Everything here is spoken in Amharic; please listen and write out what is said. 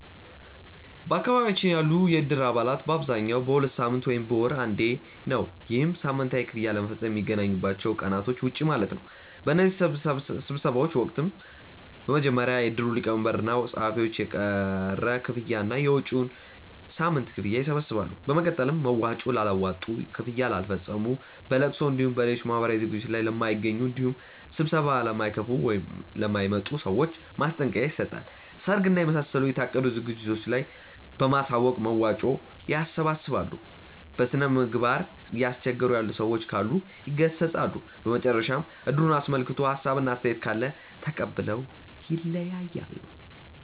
በአካባቢያችን ያሉ የእድር አባላት በአብዛኛው በሁለት ሳምንት ወይም በወር አንዴ ነው። ይህም ሳምንታዊ ክፍያ ለመፈፀም ከሚገናኙባቸው ቀናቶች ውጪ ማለት ነው። በእነዚህ ስብሰባዎች ወቅትም በመጀመሪያ የእድሩ ሊቀመንበር እና ፀሀፊዎች የቀረ ክፍያ እና የመጪዉን ሳምንት ክፍያ ይሰበስባሉ። በመቀጠል መዋጮ ላላዋጡ፣ ክፍያ ለማይፈፅሙ፣ በለቅሶ እንዲሁም በሌሎች ማህበራዊ ዝግጅቶት ላይ ለማይገኙ እንዲሁም ስብሰባ ለማይካፈሉ ( ለማይመጡ) ሰዎች ማስጠንቀቂያ ይሰጣል። ሰርግ እና የመሳሰሉ የታቀዱ ዝግጅቶች ካሉ በማሳወቅ መዋጮ ያሰባስባሉ። በስነምግባር እያስቸገሩ ያሉ ሰዎች ካሉ ይገሰፃሉ። በመጨረሻም እድሩን አስመልክቶ ሀሳብ እና አስተያየት ካለ ተቀብለው ይለያያሉ።